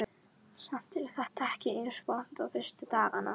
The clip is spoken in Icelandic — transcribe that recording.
Samt er þetta ekki eins vont og fyrstu dagana.